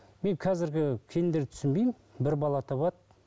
мен қазіргі келіндерді түсінбеймін бір бала табады